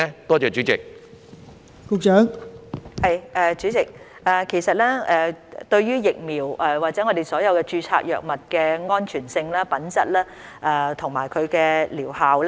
代理主席，衞生署非常關注疫苗或所有註冊藥物的安全性、品質和療效。